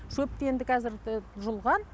шөпті енді қазір жұлған